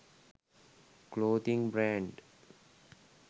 clothing brand